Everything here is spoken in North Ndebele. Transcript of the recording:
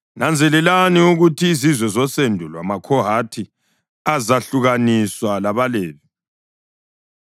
“Nanzelelani ukuthi izizwe zosendo lwamaKhohathi azehlukaniswa labaLevi.